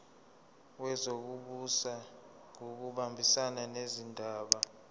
wezokubusa ngokubambisana nezindaba